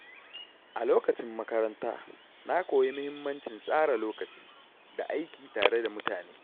A lokacin makaranta, na koyi mahimmancin tsara lokaci da aiki tare da mutane.